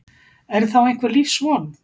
Er þá einhver lífsvon?